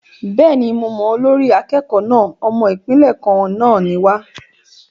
Bẹ́ẹ̀ni, mo mọ olórí akẹ́kọ̀ọ́ náà. Ọmọ Ìpínlẹ̀ kan náà ni wa.